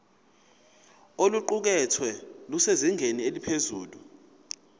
oluqukethwe lusezingeni eliphezulu